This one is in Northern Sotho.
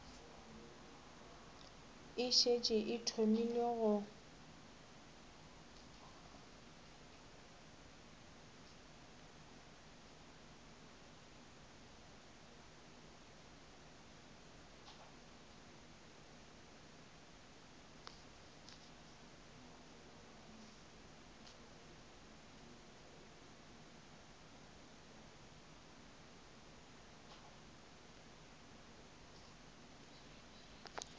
e šetše e thomile go